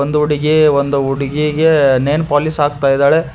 ಒಂದು ಹುಡುಗಿ ಒಂದು ಹುಡುಗಿಗೆ ನೈಲ್ ಪಾಲಿಶ್ ಹಾಕ್ತಾ ಇದ್ದಾಳೆ.